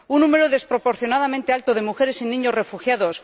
un número desproporcionadamente alto de mujeres y niños refugiados